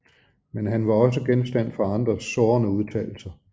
Men han var også genstand for andres sårende udtalelser